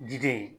Diden